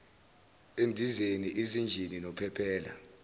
endizeni izinjini nophephela